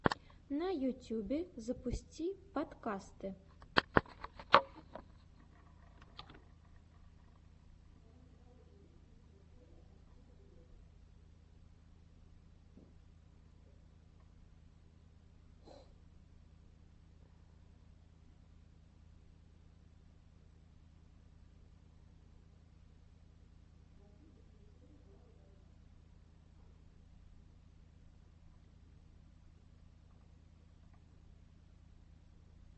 на ютюбе запусти подкасты